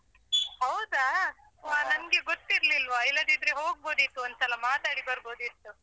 ಹೌದಾ ವಾ ನನ್ಗೆ ಗೊತ್ತಿರ್ಲಿಲ್ವಾ ಇಲ್ಲದಿದ್ರೆ ಹೋಗ್ಬೋದಿತ್ತು ಒಂದ್ಸಲ ಮಾತಾಡಿ ಬರ್ಬೋದಿತ್ತು.